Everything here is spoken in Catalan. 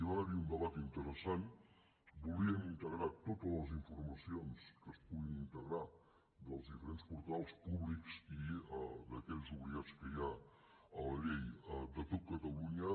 va haver hi un debat interessant volíem integrar totes les informacions que es puguin integrar dels diferents portals públics i d’aquells obligats que hi ha a la llei de tot catalunya